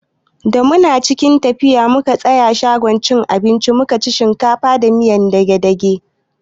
Da muke tafiya mun tsaya a shagon cin abinci mukaci shinkafa da miyar dage-dage.